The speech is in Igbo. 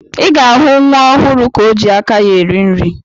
Ị ga-ahụ nwa ọhụrụ ka o ji aka ya eri nri.